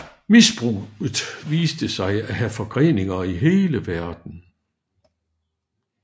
Misbruget viste sig at have forgreninger i hele verden